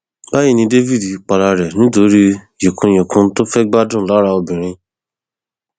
báyì ni david para rẹ nítorí yíkùnyìnkùn tó fẹẹ gbádùn lára obìnrin